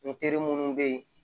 N terimu bɛ yen